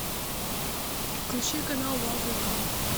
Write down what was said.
включи канал дважды два